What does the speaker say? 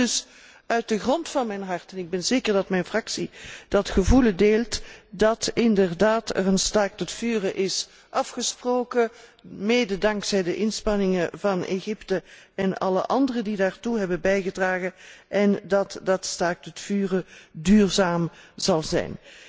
Ik hoop dus uit de grond van mijn hart, en ik ben zeker dat mijn fractie dat gevoel deelt, dat er inderdaad een staakt het vuren is afgesproken, mede dankzij de inspanningen van Egypte en alle anderen die daartoe hebben bijgedragen, en dat dat staakt het vuren duurzaam zal zijn.